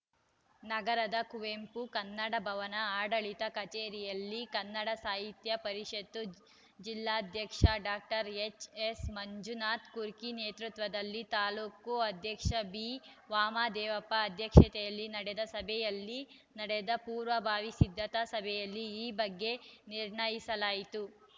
ನಗರದ ಕುವೆಂಪು ಕನ್ನಡ ಭವನದ ಆಡಳಿತ ಕಚೇರಿಯಲ್ಲಿ ಕನ್ನಡ ಸಾಹಿತ್ಯ ಪರಿಷತ್ ಜಿಲ್ಲಾಧ್ಯಕ್ಷ ಡಾಕ್ಟರ್ ಎಚ್‌ಎಸ್‌ಮಂಜುನಾಥ ಕುರ್ಕಿ ನೇತೃತ್ವದಲ್ಲಿ ತಾಲೂಕು ಅಧ್ಯಕ್ಷ ಬಿವಾಮದೇವಪ್ಪ ಅಧ್ಯಕ್ಷತೆಯಲ್ಲಿ ನಡೆದ ಸಭೆಯಲ್ಲಿ ನಡೆದ ಪೂರ್ವಭಾವಿ ಸಿದ್ಧತಾ ಸಭೆಯಲ್ಲಿ ಈ ಬಗ್ಗೆ ನಿರ್ಣಯಿಸಲಾಯಿತು